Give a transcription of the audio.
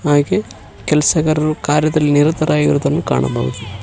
ಹಾಗೆ ಕೆಲಸಗಾರರು ಕಾರ್ಯದಲ್ಲಿ ನಿರತರಾಗಿರುವುದನ್ನ ಕಾಣಬಹುದು.